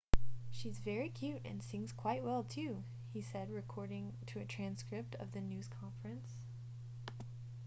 she's very cute and sings quite well too he said according to a transcript of the news conference